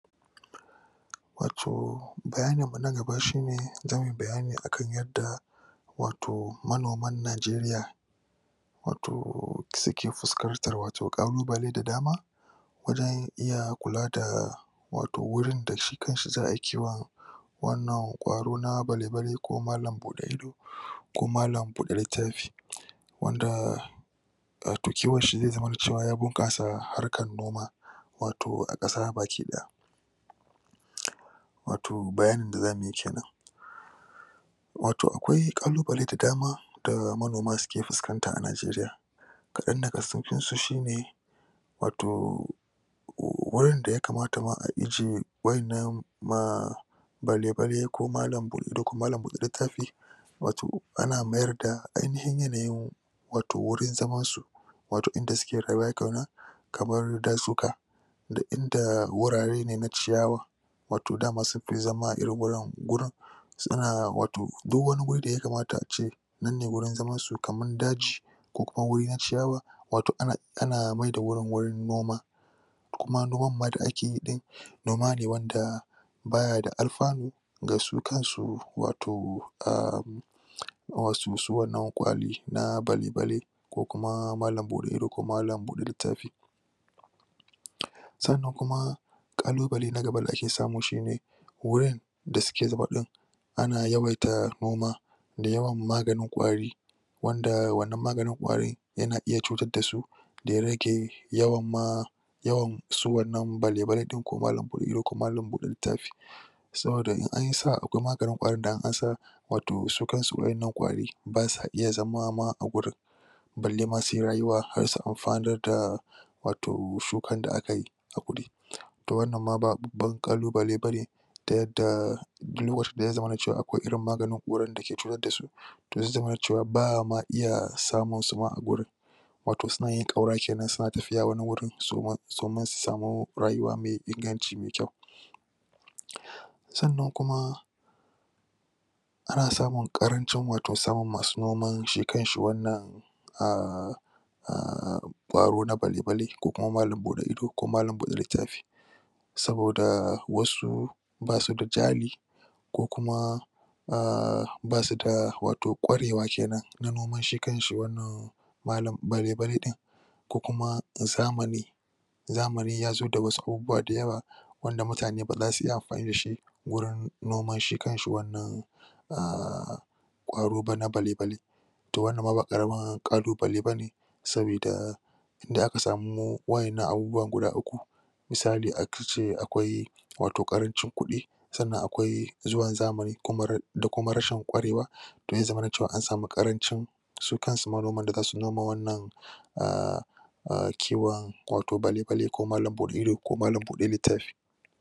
Wato bayanin mu na gaba shu ne zamu yi bayani ne akan yanda wato manoman Nigeria wato suke fuskantar wato kalubale da dama wajen iya kulada wato wurin da shi kanshi za'aayi kiwon wannan kwaro na bale-bale ko malan buɗe ido ko malan buɗe littafi, wanda ah toh, kiwon shi zamana ya bunkasa harkar noma wato a kasa baki ɗaya wato bayanin da zamuyi kenan wato akwai kalubal da dama da manoma suke fusakanta a Nigeria kadan daga cikinsu shi ne wato.. wurin da ya kamata ma a ije wanna maa... bale bale ko malan bude ido ko malan bude littafi wato ana mayar da ainihin yanayin wato wajen zaman su wato inda suke rayuwa kenan kamar da suka da inda wurare ne na ciyawa wato dama sunfi zama irin wurin suna wato duk wani guri da ya kamata ace nan ne gurin zaman su kaman daji kukuma gurin na ciyawa, wato ana mayar da wurin wurin noma kuma noman m da ake yi ɗin noma ne wanda bayada alfanu gasu kansu wato ermm... wato su wannan kwari na bale bale kukuma malan bude ido ko malan bude littafi sanan kalubale da ake samu na gaba shine wurin da suke zube din ana yawaita noma da yawnan maganin kwari wanda wannan maganin kwarin yana iya cutar dasu daya rage yawan ma yawan su wannan bale bale din ko malan bud lttafi saboda n anyi sa'a akwai maganin kwarin da in an sa wato su kansu wa'annan kwari basa iya zama ma a gurin balle ma suyi rayuwa ma har su amfanr da wato shukan da akayi to wamman ma ba babban kalubale bane da yadda duk lokacin sa ya zamana cewa akwai irn maganin kwarin dake cutar dasu to zai zamana cewa ba'a ma iya samun wasu a guriin wato suna yin kaura kenan suna tafiya wani wuri domin su sami rayuwa mai inganci mai kyau sanan kuma ana samun karancin wato masu noma shi kanshi wanan ahh... ahh kwaro na bale bale ko malan bude ido ko malan bude littafi saboda wasu basuda jari kukuma ahh... basuda da wato kware wa na noman shi kanshi wanna bale bale din kukuma zamani zamani yazo da wasu abubuwa da yawa wanda mutane baza su iya wurin noman shi kanshi wanan ahhh kwaro na bale bale to wannan ma ba karamin kalubale bane sabida idan aka sami wa'annan abubuwa guda uku misali ace akwai wato karancin kudi sanan akwai zuwan zamani da kuma rashin kwarewa zai zamana cewa an sama karancin su kanzu manoman da zasu noma wannan ah ah... kiwon bale bale ko malan bude ido ko malan bude lttafi